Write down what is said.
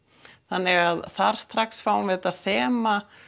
þannig að þar strax fáum við þetta þema